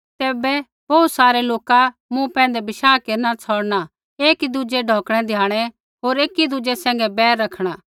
तैबै बोहू सारै लोका मूँ पैंधै बशाह केरना छ़ौड़ना एकीदुज़ै ढौकणै द्याणै होर एकीदुज़ै सैंघै बैर रखणा